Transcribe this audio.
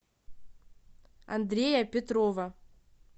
андрея петрова